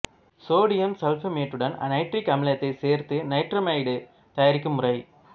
sodium சல்பமேட்டுடன் nitric அமிலத்தைச் சேர்த்து நைட்ரமைடு தயாரிக்கும் முறை